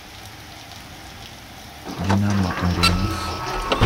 динамо арена